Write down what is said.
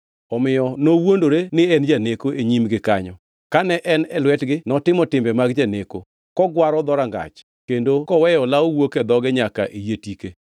Omiyo nowuondore ni en janeko e nyimgi kanyo, kane en e lwetgi notimo timbe mag janeko, kogwaro dhorangach kendo koweyo olawo wuok e dhoge nyaka e yie tike.